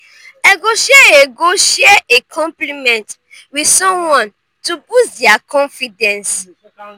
i go share a go share a compliment with someone to boost dia confidence.